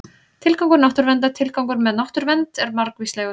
Tilgangur náttúruverndar Tilgangurinn með náttúruvernd er margvíslegur.